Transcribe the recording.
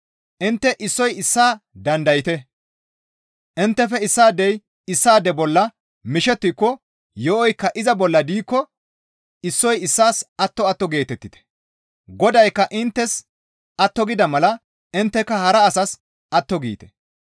Intte issoy issaa dandayte; inttefe issaadey issaade bolla mishettiko yo7oykka iza bolla diikko issoy issaas atto atto geetettite; Godaykka inttes atto gida mala intteka hara asas atto giite.